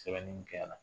Sɛbɛnni mun kɛ yan